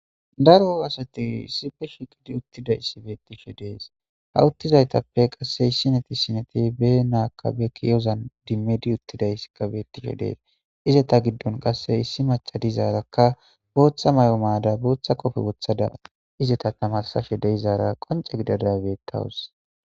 Daro asati issipe shiqidi uttidaysi betishe de'es ha utizaytape qase issineti issineti be na be ki'ozan idimidi uttidaysi betes izeta gidope issi maca dizaraka bootha mayo mayada bootha qofe wothada izeta taamarsashe de'izara qonce gidada betawus